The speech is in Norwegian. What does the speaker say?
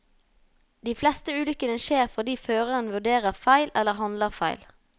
De fleste ulykkene skjer fordi føreren vurderer feil eller handler feil.